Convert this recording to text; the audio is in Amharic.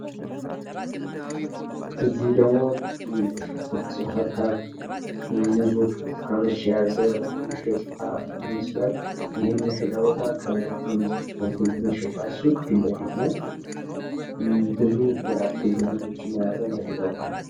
አዚህ ደግሞ ሀባብ ሙዞች፥ ብርትኳኖች የያዘ መሻጫ ይመስላል ይኸም የመሻጫ ቦታ ከአንድ አትክልት መሸጫ ሱቅ ፊት ለፊት ነው። ብዙ የአትክልት አይነቶችን የያዘ የመሸጫ ቦታ ነው።